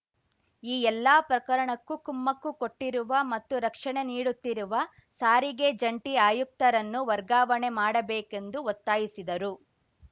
ಈ ಎಲ್ಲ ಪ್ರಕರಣಕ್ಕೂ ಕುಮ್ಮಕ್ಕು ಕೊಟ್ಟಿರುವ ಮತ್ತು ರಕ್ಷಣೆ ನೀಡುತ್ತಿರುವ ಸಾರಿಗೆ ಜಂಟಿ ಆಯುಕ್ತರನ್ನು ವರ್ಗಾವಣೆ ಮಾಡಬೇಕೆಂದು ಒತ್ತಾಯಿಸಿದರು